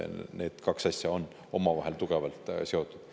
Need kaks asja on omavahel tugevalt seotud.